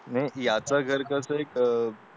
नाही याचं घर कसं इथं